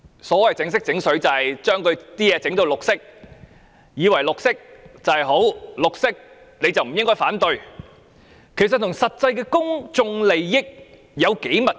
所謂"整色整水"即是把東西"染綠"，以為綠色便是好，是綠色的便不應反對，其實與實際公眾利益的關係有多密切？